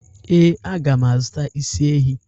Ee, a mga m azụta isi ehi.